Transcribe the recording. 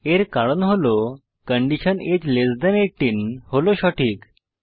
এর কারণ হল কন্ডিশন আগে লেস থান 18 হল সঠিক